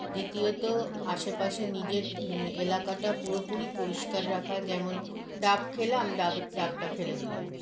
দ্বিতীয়ত আশেপাশে নিজের ম এলাকাটা পুরোপুরি পরিস্কার রাখা যেমন ডাব খেলাম ডাবের ডাবটা ফেলে দিলাম